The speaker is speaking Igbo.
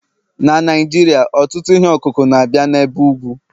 na Naijiria, ọtụtụ ihe ọkụkụ na-abịa n'ebe ugwu